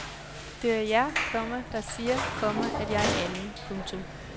Det er jer, komma der siger, komma at jeg er en anden. punktum